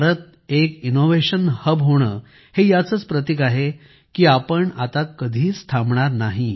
भारताचे innovation hub हे याचेच प्रतीक आहे की आपण आता कधीच थांबणार नाही